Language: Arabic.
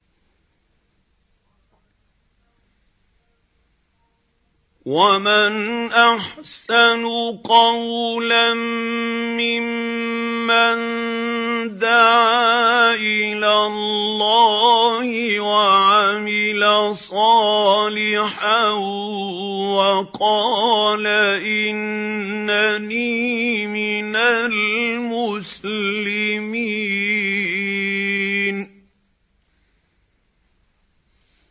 وَمَنْ أَحْسَنُ قَوْلًا مِّمَّن دَعَا إِلَى اللَّهِ وَعَمِلَ صَالِحًا وَقَالَ إِنَّنِي مِنَ الْمُسْلِمِينَ